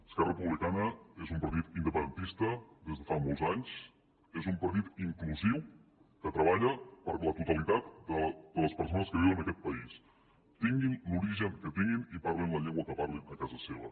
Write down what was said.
esquerra republicana és un partit independentista des de fa molts anys és un partit inclusiu que treballa per la totalitat de les persones que viuen en aquest país tinguin l’origen que tinguin i parlin la llengua que parlin a casa seva